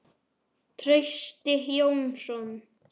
Trausti Jónsson